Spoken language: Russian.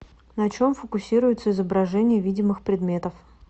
на чем фокусируется изображение видимых предметов